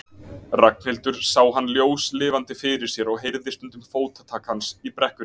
Ragnhildur sá hann ljóslifandi fyrir sér og heyrði stundum fótatak hans í brekkunni.